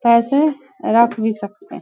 ऐसे रख भी सकते।